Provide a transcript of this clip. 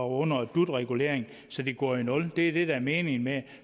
under dut reguleringen så de går i nul det er det der er meningen med det